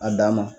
A dan ma